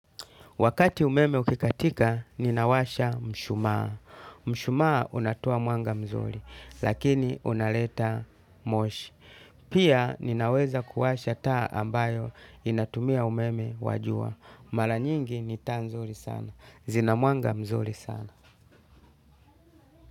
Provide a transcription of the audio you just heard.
Wakati umeme ukikatika, ninawasha mshumaa. Mshumaa unatoa mwanga mzuri, lakini unaleta moshi. Pia ninaweza kuwasha taa ambayo inatumia umeme wa jua. Mara nyingi ni taa nzuri sana. Zina mwanga mzuri sana.